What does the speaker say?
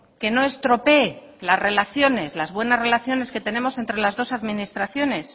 que no estropee las buenas relaciones que tenemos entre las dos administraciones